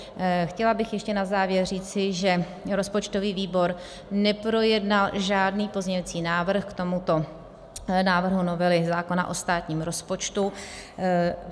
Chtěla bych ještě na závěr říci, že rozpočtový výbor neprojednal žádný pozměňovací návrh k tomuto návrhu novely zákona o státním rozpočtu.